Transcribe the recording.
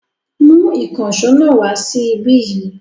Mú ìkànṣọ́ náà wa sí ibí yìí.